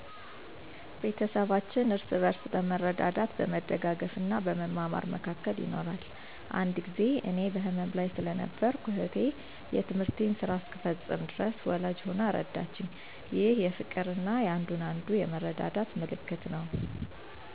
ቤተሰባችን እርስ በርስ በመረዳዳት፣ በመደጋገፍ እና በመማማር መካከል ይኖራል። አንድ ጊዜ እኔ በህመም ላይ ስለነበርኩ፣ እኅቴ የትምህርቴን ስራ እስከምፈጽም ድረስ ወላጅ ሆና ረዳችኝ። ይህ የፍቅርና የአንዱን አንዱ የመረዳዳት ምልክት ነው።